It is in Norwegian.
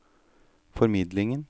formidlingen